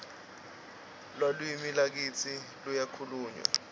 lalwimi lakitsi luyakhulmywa